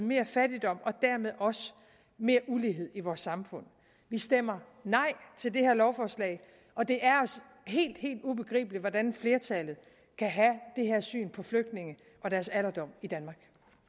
mere fattigdom og dermed også mere ulighed i vores samfund vi stemmer nej til det her lovforslag og det er os helt helt ubegribeligt hvordan flertallet kan have det her syn på flygtninge og deres alderdom i danmark